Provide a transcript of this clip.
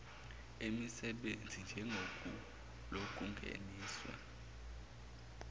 emisebenzi njengesu lokungenisa